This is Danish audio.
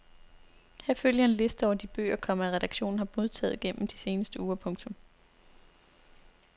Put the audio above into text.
Her følger en liste over de bøger, komma redaktionen har modtaget gennem de seneste uger. punktum